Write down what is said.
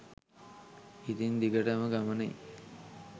ඉතින් දිගටම ගමනෙ